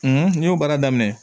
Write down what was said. n y'o baara daminɛ